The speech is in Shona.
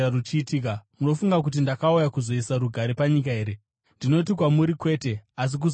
Munofunga kuti ndakauya kuzoisa rugare panyika here? Ndinoti kwamuri kwete, asi kuzopesanisa.